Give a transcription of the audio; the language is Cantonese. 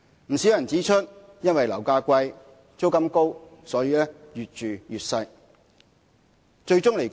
不少人指出，因為樓價貴、租金高，所以越住越小。